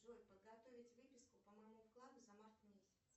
джой подготовить выписку по моему вкладу за март месяц